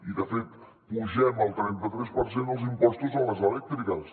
i de fet apugem el trenta tres per cent els impostos a les elèctriques